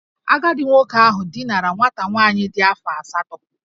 Agadi nwoke ahu dinara nwata nwaanyị di afo asatọ